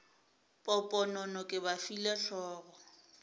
poponono ke ba file hlogo